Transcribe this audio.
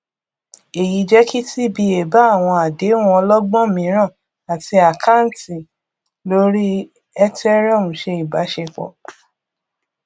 èyí jẹ kí cs] tba bá àwọn àdéhùn ọlọgbọn mìíràn àti àkáǹtì lórí ethereum ṣe ìbáṣepọ